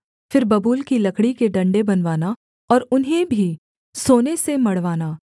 फिर बबूल की लकड़ी के डण्डे बनवाना और उन्हें भी सोने से मढ़वाना